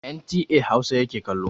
NTA Hausa yake kallo.